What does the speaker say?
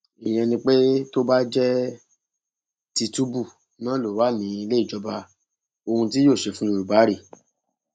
ìyẹn ni pé tó bá jẹ tìtúbù náà ló wà nílé ìjọba ohun tí yóò ṣe fún yorùbá rèé